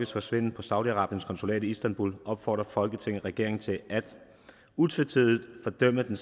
forsvinden på saudi arabiens konsulat i istanbul opfordrer folketinget regeringen til utvetydigt at fordømme det